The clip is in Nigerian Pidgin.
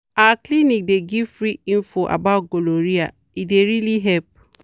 our clinic dey give free info about gonorrhea e dey really help.